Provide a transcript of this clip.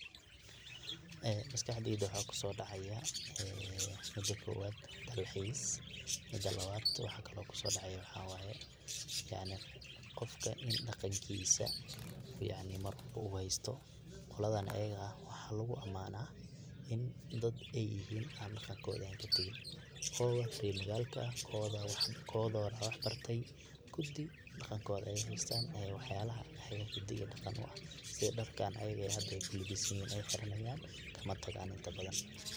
Maskaxdeyda waxa kusodacaya mida kobad dalxiis, mida labad waxa kalo kusodacaya waxawaya yacni, qoofka in daqankiisa yacni marwalbo uu haysto qoladhan ayaga waxa lugu amana in dad ay yahin daqankodha an katagin kodha reer magalka kodha, wax barti kuti daqankodha ay haystan e wax yala hidi ii daqan u eh sidhi darkan ay hada ay kulibisihin ay hirina hayan kama tagaan.